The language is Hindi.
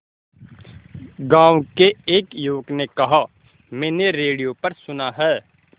गांव के एक युवक ने कहा मैंने रेडियो पर सुना है